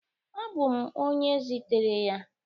Abụ m onye zitere ya